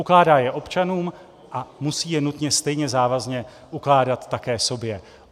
Ukládá je občanům a musí je nutně stejně závazně ukládat také sobě.